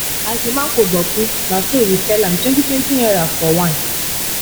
as the mango boku na so we sell am twenty twenty naira for one